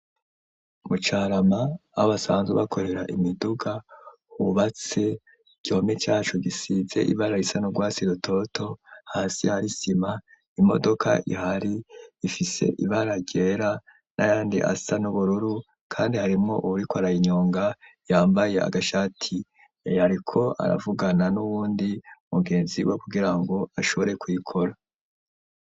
Mu carama aho basanzwe bakorera imiduga hubatse igihome cacu gisize ibara risa nu gwatsi rutoto ,hasi hari isima ,imodoka ihari ifise ibara ryera n'ayandi asa n'ubururu kandi harimwo uwuriko arayinyonga yambaye agashati ariko aravugana n'uwundi mugenzi we kugirango ashobore kuyikora.